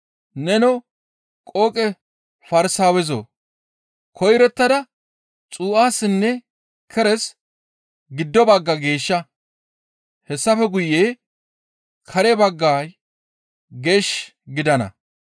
Nenoo qooqe Farsaawezoo! Koyrottada xuu7assinne keres giddo bagga geeshsha! Hessafe guye kare baggay geesh gidana.